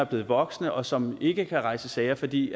blevet voksne og som ikke kan rejse sag fordi